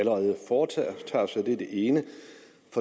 allerede foretager sig det er det ene